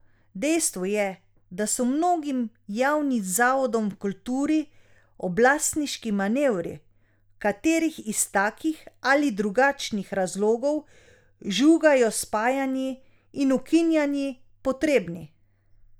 Dejstvo je, da so mnogim javnim zavodom v kulturi oblastniški manevri, v katerih iz takih ali drugačnih razlogov žugajo s spajanji in ukinjanji, potrebni.